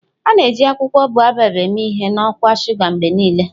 A na-eji akwụkwọ Baobab eme ihe na ọkwa shuga mgbe niile.